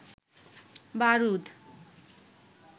বারুদ